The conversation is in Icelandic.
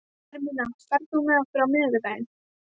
Hermína, ferð þú með okkur á miðvikudaginn?